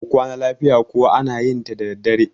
mu Kwana lafiya kuwa ana yinta daddadre